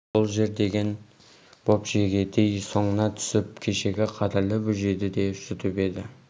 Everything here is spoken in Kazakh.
сол жер деген боп жегідей соңына түсіп кешегі қадірлі бөжейді де жұтып еді